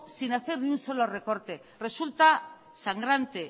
sin hacer ni un solo recorte resulta sangrante